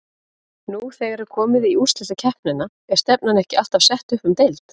Nú þegar er komið í úrslitakeppnina er stefnan ekki alltaf sett upp um deild?